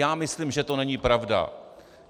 Já myslím, že to není pravda.